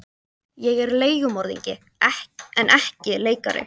Ég er leigumorðingi en ekki leikari.